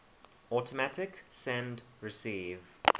automatic send receive